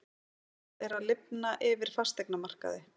Það er að lifna yfir fasteignamarkaði